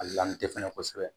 A lamu tɛ fɛnɛ kosɛbɛ